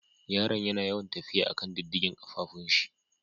Yaran yana yawan tafiya a'kan diddigen kafafun shi.